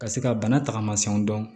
Ka se ka bana taagasiw dɔn